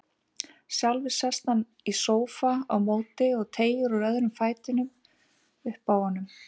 Sjálfur sest hann í sófa á móti og teygir úr öðrum fætinum uppi á honum.